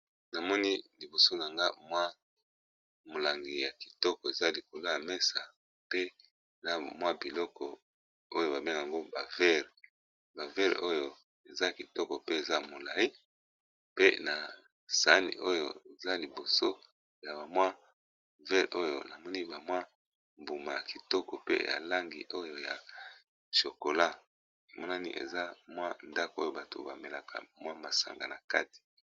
Na moni liboso na nga mwa molangi ya kitoko eza likolo ya mesa pe na mwa biloko oyo ba bengak'ango ba veres, ba veres oyo eza kitoko pe eza molayi pe na sani oyo eza liboso ya ba mwa veres oyo na moni ba mwa mbuma ya kitoko pe ya langi oyo ya chokola, emonani eza mwa ndako oyo bato ba melaka mwa masanga na kati .